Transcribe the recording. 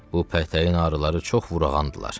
Bu pətəyin arıları çox vurağandılar.